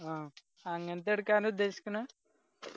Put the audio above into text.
ആ അങ്ങനത്തെ എടുക്കാനാ ഉദ്ദേശിക്കണ്